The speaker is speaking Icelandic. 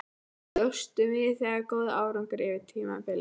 Bjóstu við þessum góða árangri fyrir tímabilið?